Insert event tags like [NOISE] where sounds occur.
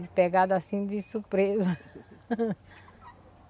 Foi pegada assim de surpresa. [LAUGHS]